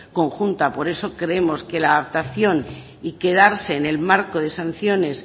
conjunta por eso creemos que la adaptación y quedarse en el marco de sanciones